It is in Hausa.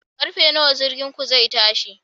Karfe nawa jirginku zai tashi?